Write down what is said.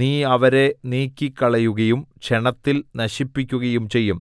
നീ അവരെ നീക്കിക്കളയുകയും ക്ഷണത്തിൽ നശിപ്പിക്കുകയും ചെയ്യും